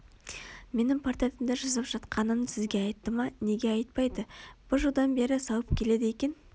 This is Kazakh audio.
менің портретімді жасап жатқанын сізге айтты ма неге айтпайды бір жылдан бері салып келеді екен